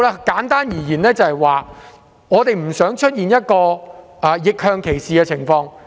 簡單而言，我們不想出現逆向歧視的情況。